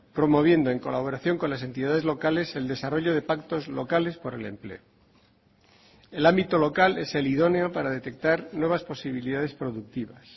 promoviendo en colaboración con las entidades locales el desarrollo de pactos locales por el empleo el ámbito local es el idóneo para detectar nuevas posibilidades productivas